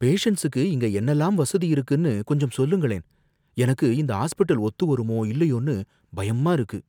பேசண்ட்ஸுக்கு இங்க என்னலாம் வசதி இருக்குனு கொஞ்சம் சொல்லுங்களேன், எனக்கு இந்த ஹாஸ்பிடல் ஒத்து வருமோ இல்லையோன்னு பயமா இருக்கு.